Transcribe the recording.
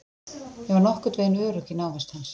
Ég var orðin nokkurnveginn örugg í návist hans.